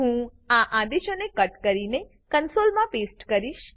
હું આ આદેશોને કટ કરીને કન્સોલમાં પેસ્ટ કરીશ